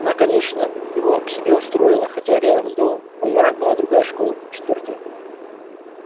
она конечно его к себе устроила хотя рядом с домом во дворах была другая школа четвёртая